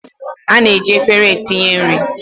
A na-eji efere etinye nri